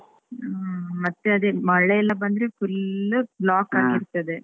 ಹ್ಮ್ ಮತ್ತೆ ಅದೆ ಮಳೆ ಎಲ್ಲ ಬಂದ್ರೆ full block ಆಗಿರ್ತದೆ.